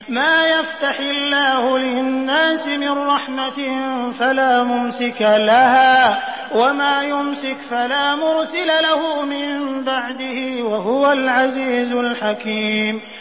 مَّا يَفْتَحِ اللَّهُ لِلنَّاسِ مِن رَّحْمَةٍ فَلَا مُمْسِكَ لَهَا ۖ وَمَا يُمْسِكْ فَلَا مُرْسِلَ لَهُ مِن بَعْدِهِ ۚ وَهُوَ الْعَزِيزُ الْحَكِيمُ